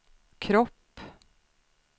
kropp